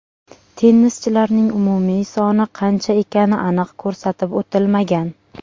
Tennischilarning umumiy soni qancha ekani aniq ko‘rsatib o‘tilmagan.